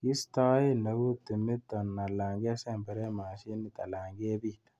Kistoen eut timiton alan kesemberen mosinit aln kebit.